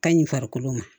Ka ɲi farikolo ma